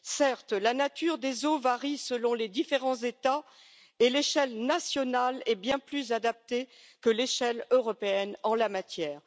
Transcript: Certes, la nature des eaux varie selon les différents États et l'échelle nationale est bien plus adaptée que l'échelle européenne en la matière.